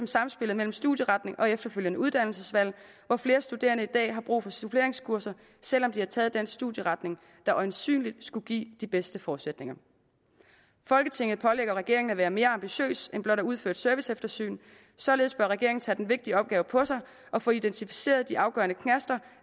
samspillet mellem studieretning og efterfølgende uddannelsesvalg hvor flere studerende i dag har brug for suppleringskurser selv om de har taget den studieretning der øjensynligt skulle give de bedste forudsætninger folketinget pålægger regeringen at være mere ambitiøs end blot at udføre et serviceeftersyn således bør regeringen tage den vigtige opgave på sig at få identificeret de afgørende knaster